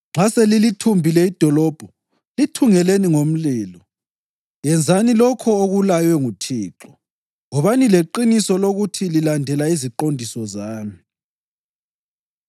Nxa selilithumbile idolobho, lithungeleni ngomlilo. Yenzani lokho okulaywe nguThixo. Wobani leqiniso lokuthi lilandela iziqondiso zami.”